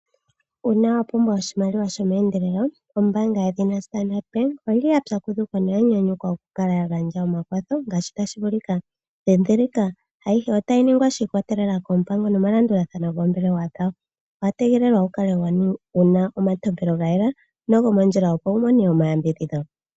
Una wa pumbwa oshimaliwa shomeendelelo ombaanga yeshina Standard Bank oyili ya pyakudhuka noya nyanyukwa oku kala ya gandja omakwatho ngaashi tashi vulika. Dhidhilika, ayihe otayi ningwa shi ikwatelela koompango nomalandulathano goombelewa dhawo, owa tegelelwa wu kale wuna omantopelo ga yela nogomondjila opo wu mone omayambidhidho.